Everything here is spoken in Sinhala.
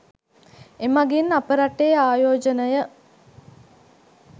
එමගින් අප රටේ ආයෝජනය